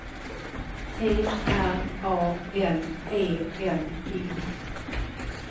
T R A N E M O